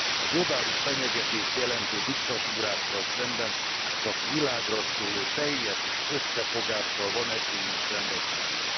A globális fenyegetést jelentő diktatúrákkal szemben csak világraszóló teljes összefogással van esélyünk szembeszállni.